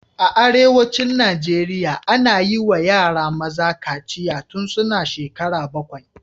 A arewacin Najeriya, ana yi wa yara maza kaciya tun suna shekara bakwai